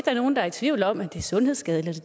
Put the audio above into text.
er nogen der i tvivl om at det er sundhedsskadeligt